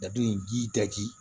Dado in ji